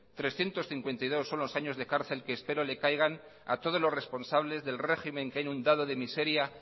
trescientos cincuenta y dos son los años de cárcel que espero le caigan a todos los responsables del régimen que ha inundado de miseria